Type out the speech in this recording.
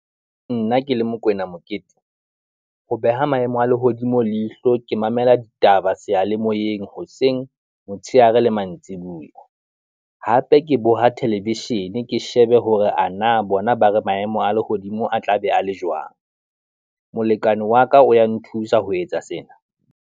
Nna ke le Mokoena Mokete, ho beha maemo a lehodimo leihlo e mamela ditaba seyalemoyeng hoseng, motshehare le mantsibuya. Hape ke boha theleveshene ke shebe hore ana bona ba re maemo a lehodimo a tla be a le jwang. Molekane wa ka o ya nthusa ho etsa sena.